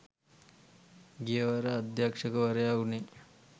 ගියවර අධ්‍යක්ෂකවරයා වුණේ